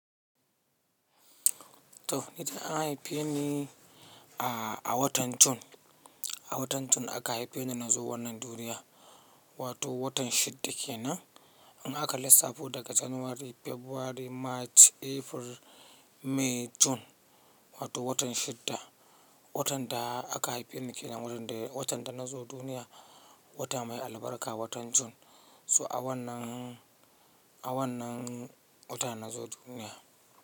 To, ni dai an haife ni a, a watan June, a watan June aka haife ni na zo wannan duniya, wato watan shidda kenan. Amma aka lissafo daga January, February, March, April, May, June wato watan shidda. Watan da aka haife ni ke nan, watan da, watan da na zo duniya, wata mai albarka watan June. So a wannan, a wannan wata na zo duniya.